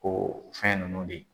Ko fɛn ninnu de